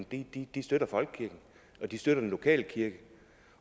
det de støtter folkekirken og de støtter den lokale kirke